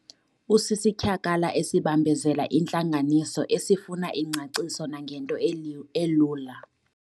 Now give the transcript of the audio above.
Usisityhakala esibambezela intlanganiso esifuna ingcaciso nangento elula.